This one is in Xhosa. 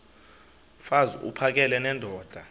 mfaz uphakele nendoda